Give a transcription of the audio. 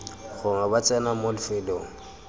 gongwe ba tsena mo lefelong